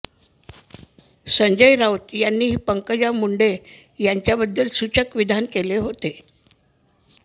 संजय राऊत यांनीही पंकजा मुंडे यांच्याबाबत सूचक विधान केले होते